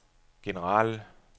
generelle